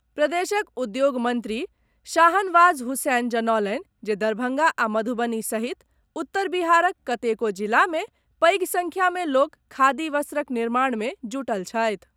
प्रदेशक उद्योग मंत्री शाहनवाज हुसैन जनौलनि जे दरभंगा आ मधुबनी सहित उत्तर बिहारक कतेको जिला मे पैघ संख्या में लोक खादी वस्त्रक निर्माण मे जुटल छथि।